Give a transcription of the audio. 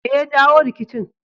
Me ya jawo rikicin